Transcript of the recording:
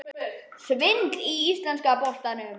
Svindl í íslenska boltanum?